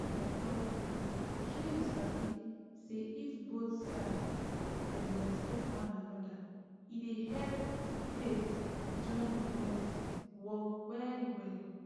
make i talk true shey you sabi say if both side dem respect one anoda e dey help faith join with medicine work well well